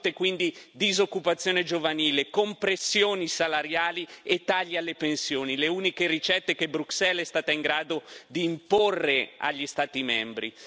Si sono avuti quindi disoccupazione giovanile, compressioni salariali e tagli alle pensioni le uniche ricette che Bruxelles è stata in grado di imporre agli Stati membri.